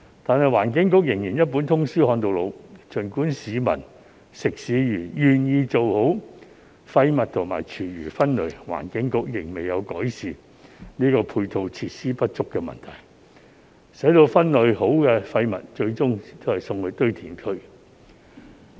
然而，環境局仍然"一本通書看到老"，儘管市民、食肆願意做好廢物和廚餘分類，但環境局仍未有改善配套設施不足的問題，分類好的廢物最終還是送到堆填區。